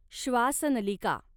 श्वासनलिका